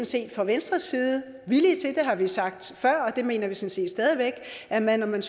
set fra venstres side villige til at har vi sagt før og det mener vi sådan set stadig væk at man man